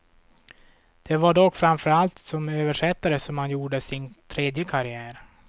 Det var dock framför allt som översättare som han gjorde sin tredje karriär.